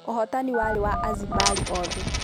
ũhotani warĩ wa Azimbari othe.